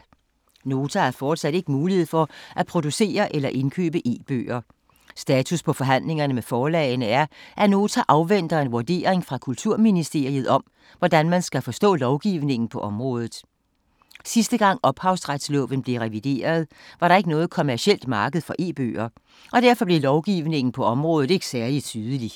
Nota har fortsat ikke mulighed for at producere eller indkøbe e-bøger. Status på forhandlingerne med forlagene er, at Nota afventer en vurdering fra Kulturministeriet om, hvordan man skal forstå lovgivningen på området. Sidste gang Ophavsretsloven blev revideret, var der ikke noget kommercielt marked for e-bøger, og derfor blev lovgivningen på området ikke særlig tydelig.